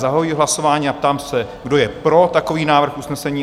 Zahajuji hlasování a ptám se, kdo je pro takový návrh usnesení?